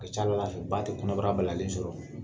O tɛ carola yen, o ba tɛ kɔnɔbara balalen sɔrɔ.